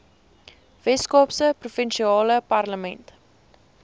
weskaapse provinsiale parlement